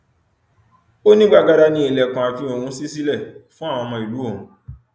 ó ní gbàgádà ni ilẹkùn ààfin òun ṣí sílẹ fún àwọn ọmọ ìlú òun